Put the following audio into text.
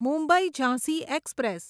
Mumbai Jhansi express